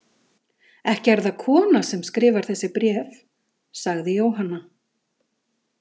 Ekki er það kona sem skrifar þessi bréf, sagði Jóhanna.